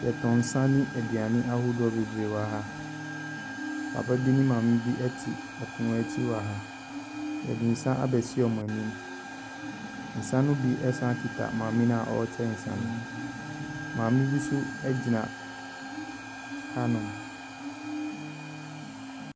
Yɛtɔn nsa ne aduane ahodoɔ bebree wɔ ha. Papabi ne maame bi ɛte ɛpono akyi wɔ ha. Yɛde nsa abɛsi ɔmo anim, nsa no bi ɛsan kita maame na ɔɔkyɛ nsa no. Maame bi so ɛgyina ha nom.